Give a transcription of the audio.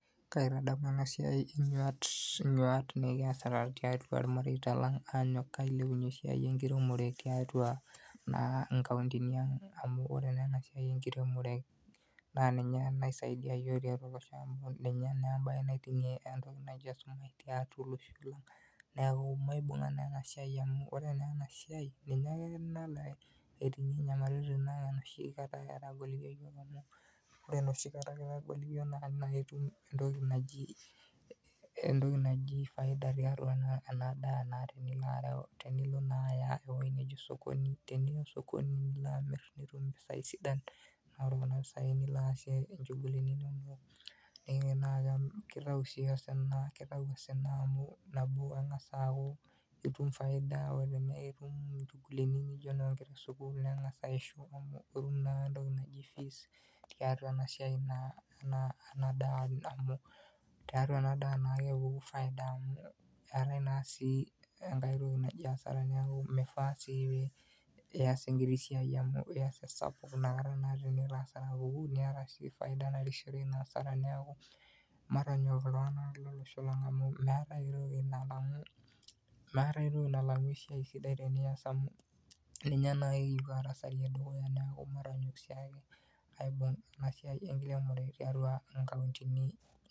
Kaitadamu ena siai inyuat nekiasita tiatua irmareita leng' aanyok ailepunyie naa esiai enkiremore tiatua inkauntini ang'. Amuu oore naa eena siai enkiremore naa ninye naake esiai naiting'ie esumash tiatua olosho niaku maibung'a naa eena siai amuu oore naa eena siai, ninye aake nalo aiting'ie inyamalitin enoshikata etagolikio iyiok amuu, oore enoshikata kitagolikio naa naikata naa itum entoki naji faida tiatua naa eena daa naa tenilo areu tenilo naa aaya ewueji naji sokoni, teniya soko nilo amir nitum impisai sidan, naa oore kuna pisai nilo aasie inchugulini inonok. Keitau osina amuu nabo, itum faida, oore peyie itum inchugulini najo inonkera esukuul ning'asa aishu, itum entoki naijo fees tiatua ena daa amuu tiatua ena daa naaje epuku faida niaku matonyok iltung'anak lolosho lang amuu meeta ae toki nalang'u esiai sidai tenias amuu ninye naa kipu arasarayie dukuya niaku matonyok oleng aibung eena siai tiatua inkauntini ang'.